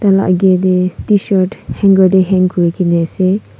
itu la agey deh tshirt hanger deh hang kurigena ase.